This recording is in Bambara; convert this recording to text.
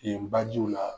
Yen bajiw la